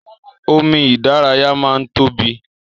Omi ìdárayá máa n tóbi.